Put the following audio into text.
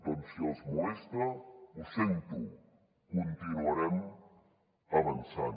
doncs si els molesta ho sento continuarem avançant